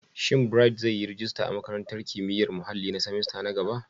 Shin Bright zai yi rajista a Makarantar Kimiyyar Muhalli na semester na gaba?